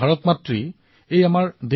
অনেক মানৱ ৰত্ন এই ভূমিৰ পৰা ওলাইছে